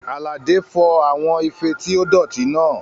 Àlàdé fọ àwọn ife tí ó dọ̀tí náà